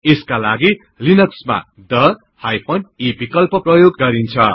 यसकालागि लिनक्समा थे e विकल्प प्रयोग गरिन्छ